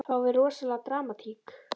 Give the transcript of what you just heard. Fáum við rosalega dramatík?